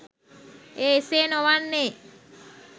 එය එසේ නොවන්නේ